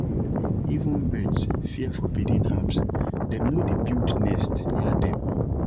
even birds fear forbidden herbs dem no dey build nest near dem